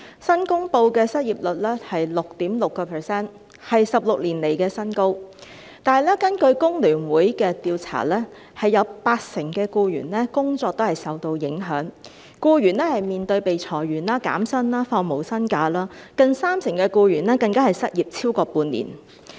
新公布的失業率是 6.6%， 為16年來的新高，但是，根據香港工會聯合會的調查，有八成僱員的工作都是受到影響，僱員面對被裁員、減薪、放無薪假，近三成僱員更失業超過半年。